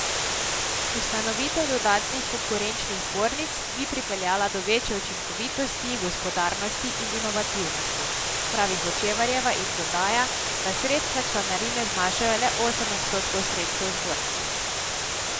Ustanovitev dodatnih konkurenčnih zbornic bi pripeljala do večje učinkovitosti, gospodarnosti in inovativnosti, pravi Hočevarjeva in dodaja, da sredstva članarine znašajo le osem odstotkov sredstev zbornice.